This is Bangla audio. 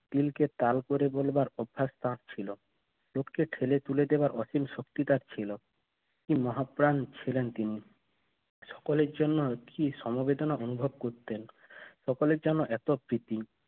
তিনটে তাল করে বলবার অভ্যাস তার ছিল না উঠতে ঠেলে ফেলে দেওয়ার শক্তি তার ছিল কি মহাপ্রাণ ছিলেন তিনি সকলের জন্য কি সমবেদনা অনুভব করতেন সকলের জন্য এত প্রীতি